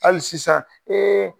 Hali sisan